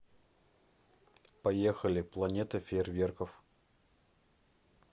поехали планета фейерверков